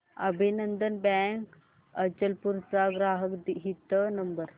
अभिनंदन बँक अचलपूर चा ग्राहक हित नंबर